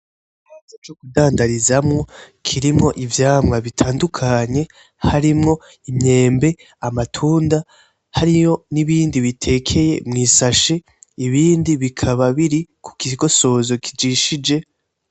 Ico co kudandarizamo cirimo ivyamwa bitandukanye harimo imyembe, amatunda harimo nibindi bitekeye mwisashi ibindi bikaba biri kukigosozo kijishije.